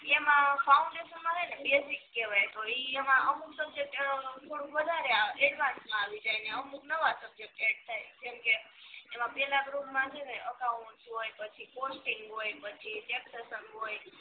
એમા ફાઉંડેસન સે ને બેસિક કેવાય પણ અમુક સબ્જેક્ટ થોડુંક વધારે આવ એડવાંસ માં આવી જાય ને અમુક નવા સબ્જેક્ટ એડ થાય કેમ કે એમાં પેલા ગ્રુપ માં સે ને અકાઉંટ હોય પછી કોસ્ટીંગ હોય પછી ટેક્ષસન હોય